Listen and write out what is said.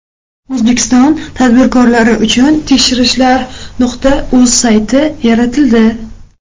O‘zbekiston tadbirkorlari uchun tekshirishlar.uz sayti yaratildi.